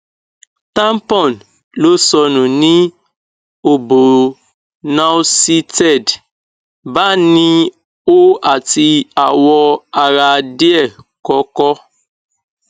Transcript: tampon lo sonu ni obo nauseated bani o ati awo ara die koko